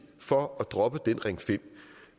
for at droppe den ring femte